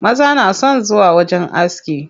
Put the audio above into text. Maza na son zuwa wajen aski.